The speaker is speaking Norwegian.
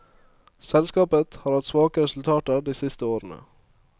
Selskapet har hatt svake resultater de siste årene.